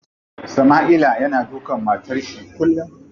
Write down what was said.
Sama'ila yana dukan matar shi kullum.